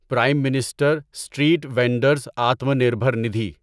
Prem minister street vendors Atma Nirbhar Nidhi